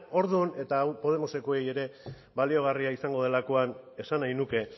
orduan eta hau podemosekoei ere baliogarria izango delakoan esan nahi nuke